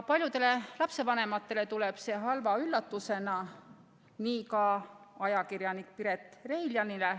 Paljudele lapsevanematele tuleb see halva üllatusena, nagu tuli ka ajakirjanik Piret Reiljanile.